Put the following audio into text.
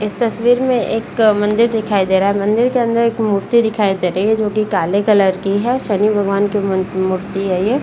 इस तस्वीर में एक अ मंदिर दिखाई दे रहा है मंदिर के अंदर एक मूर्ति दिखाई दे रही है जो की काले कलर की है शनि भगवान की मु मूर्ति है ये।